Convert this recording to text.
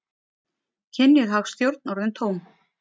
Kynjuð hagstjórn orðin tóm